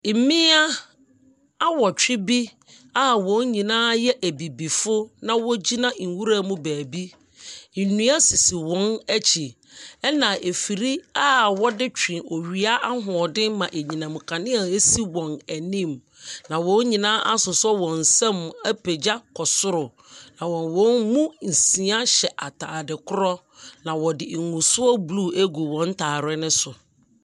Mmea awɔtwe bi a wɔn nyinaa yɛ ebibifo, na wɔgyina nwuram baabi. Nnua sisi wɔn akyi, ɛnna afiri a wɔde twe owia ahoɔden ma anyinam nkanea si wɔn anim, na wɔn nyinaa asosɔ wɔn nsam apagya kɔ soro, na wɔn mu nsia hyɛ atade korɔ, na wɔde ngusoɔ blue agu wɔn ntare no so.